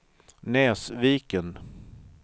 Näsviken